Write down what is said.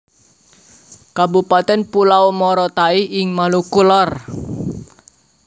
Kabupatèn Pulau Morotai ing Maluku Lor